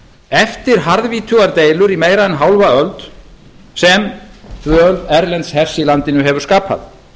eftir harðvítugar deilur í meira en hálfa öld sem dvöl erlends hers í landinu hefur skapað